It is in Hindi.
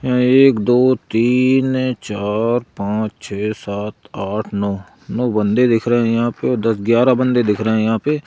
एक दो तीन चार पांच छे सात आठ नौ नौ बंदे दिख रहे हैं यहां पे दस ग्यारह बंदे दिख रहे हैं यहां पे--